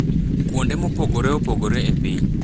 kuonde mopogore opogore e piny.